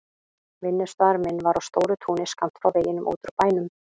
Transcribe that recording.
Vinnustaður minn var á stóru túni skammt frá veginum út úr bænum.